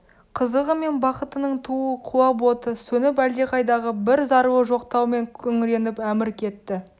қызығы мен бақытының туы құлап оты сөніп әлдеқайдағы бір зарлы жоқтаумен күңреніп әмір кетті